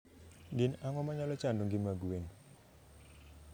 Gin ang'o manyalo chando ngima gwen?